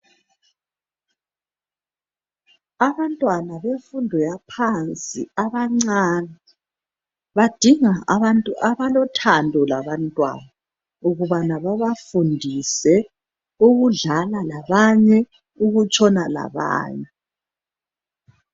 Abantwana bemfundo yaphansi abancane badinga abantu abalothando labantwana , ukuthi babafundise ukudlala labanye lokutshona labanye.